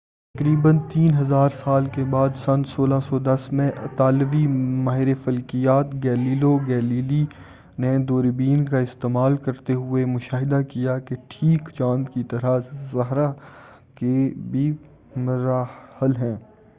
تقریبا تین ہزار سال کے بعد سن 1610 میں اطالوی ماہر فلکیات گیلیلیو گیلیلی نے دوربین کا استعمال کرتے ہوئے مشاہدہ کیا کہ ٹھیک چاند کی طرح زہرہ کے بھی مراحل ہیں